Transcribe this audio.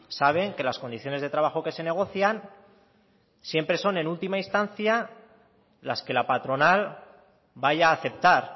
saben que las condiciones de trabajo que se negocian siempre son en última instancia las que la patronal vaya a aceptar